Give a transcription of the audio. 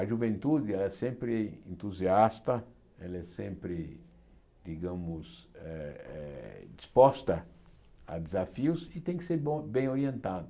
A juventude é sempre entusiasta, ela é sempre, digamos, eh eh disposta a desafios e tem que ser bom bem orientada.